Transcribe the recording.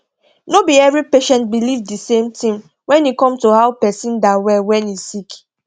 no be every patient believe de same thing when e come to how person da well when e sick